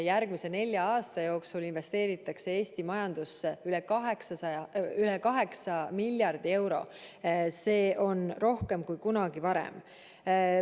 Järgmise nelja aasta jooksul investeeritakse Eesti majandusse üle 8 miljardi euro, see on rohkem kui kunagi varem.